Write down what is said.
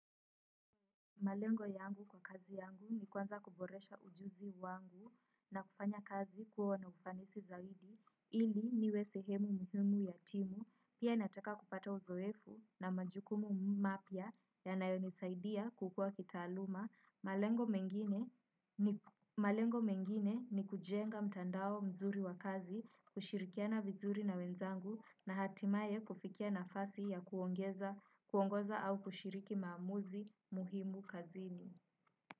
Malengo yangu kwa kazi yangu ni kwanza kuboresha ujuzi wangu na kufanya kazi kwa na ufanisi zaidi, ili niwe sehemu muhimu ya timu, pia ninataka kupata uzoefu na majukumu mapya ya nayonisaidia kukua kitaaluma. Malengo mengine ni kujenga mtandao mzuri wa kazi, kushirikiana vizuri na wenzangu na hatimaye kufikia nafasi ya kuongoza au kushiriki maamuzi muhimu kazini.